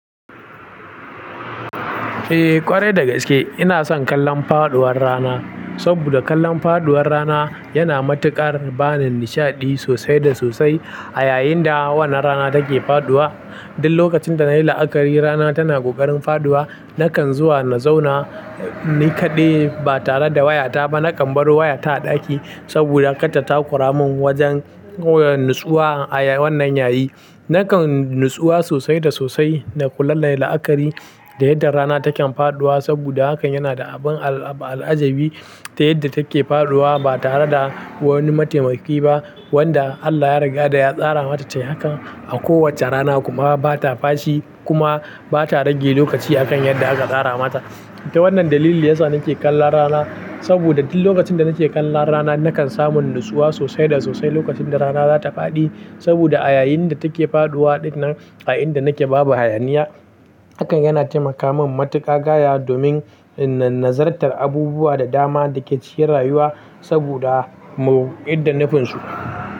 Eh ƙwarai da gaske ina son kallon faɗuwar rana, saboda kallon faɗuwar rana yana matuƙar bani nishaɗi sosai da sosai a yayin da wannan rana take faɗuwa. Duk lokacin da nayi la'akari rana tana ƙoƙarin faɗuwa nakan zuwa na zauna ni kaɗai ba tare da wayata ba. Nakan bar wayata a ɗaki saboda katata kuramin wajen natsuwa a wannan yayi. Nakan natsuwa sosai da sosai da kula nayi la'akari da yadda rana taken faɗuwa saboda hakan yana da abin al'ajabi ta yadda take faɗuwa ba tare da wani mataimaki ba wanda Allah ya riga da ya tsara mata hakan a kowacce rana kuma bata fashi kuma bata rage lokaci a kan yadda aka tsara mata. Ta wannan dalili yasa nake kallon rana saboda duk lokacin da nake kallon rana nakan samu natsuwa sosai da sosai lokacin da rana zata faɗi saboda a yayin da take faɗuwa ɗinnan a inda nake babu hayaniya hakan yana taimaka min matuƙa gaya domin nazartar abubuwa da dama da ke ciyar rayuwa saboda mu idda nafinsu.